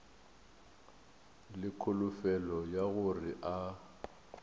le kholofelo ya gore a